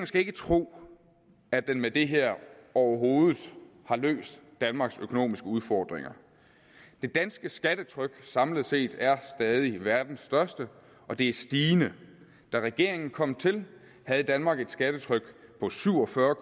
skal tro at den med det her overhovedet har løst danmarks økonomiske udfordringer det danske skattetryk samlet set er stadig verdens største og det er stigende da regeringen kom til havde danmark et skattetryk på syv og fyrre